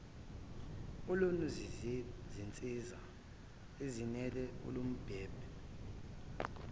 olunezinsiza ezenele olubumbeni